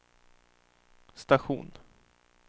station